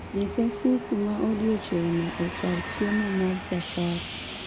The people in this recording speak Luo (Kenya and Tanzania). nyisa supu ma odiechieng' no e kar chiemo ma safari